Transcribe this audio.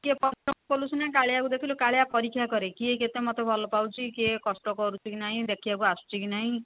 ଟିକେ କଷ୍ଟ କଲୁ ସିନା କାଳିଆ କୁ ଦେଖିଲୁ କାଳିଆ ପରୀକ୍ଷା କରେ କିଏ କେତେ ମତେ ଭଲ ପାଉଛି କିଏ କଷ୍ଟ କରୁଛି କି ନାଇଁ ଦେଖିବାକୁ ଆସୁଛିକି ନାଇଁ